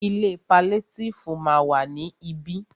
Ilé paliétífù ma wà ní ibí.